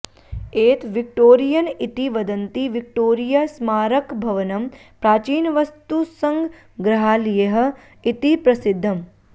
एत विक्टोरियन् इति वदन्ति विक्टोरिया स्मारकभवनं प्राचीनवस्तुसङ्ग्रहालयः इति प्रसिध्दम्